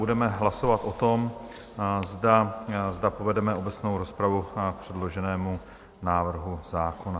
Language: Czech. Budeme hlasovat o tom, zda povedeme obecnou rozpravu k předloženému návrhu zákona.